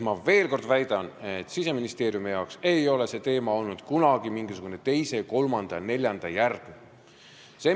Ma veel kord väidan, et Siseministeeriumi jaoks ei ole see olnud kunagi mingisugune teise, kolmanda või neljanda järgu teema.